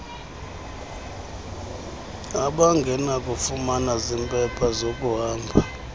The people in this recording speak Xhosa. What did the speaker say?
abangenakufumana zimpepha zakuhamba